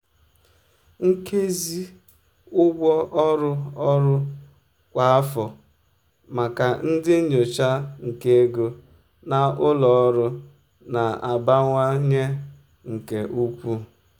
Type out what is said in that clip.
nkezi ụgwọ ọrụ ọrụ kwa afọ maka ndị nyocha nke ego na ụlọ ọrụ na-abawanye nke ukwuu.